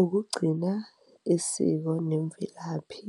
Ukugcina isiko nemvelaphi,